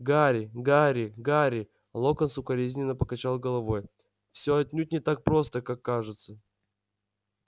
гарри гарри гарри локонс укоризненно покачал головой всё отнюдь не так просто как кажется